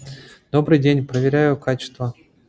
добрый день проверяю качество